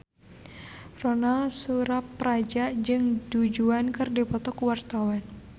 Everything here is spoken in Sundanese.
Ronal Surapradja jeung Du Juan keur dipoto ku wartawan